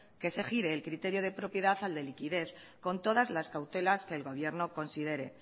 que se gire el criterio de propiedad al de liquidez con todas las cautelas que el gobierno considere